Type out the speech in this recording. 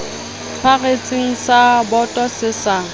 tshwaretseng sa boto se sa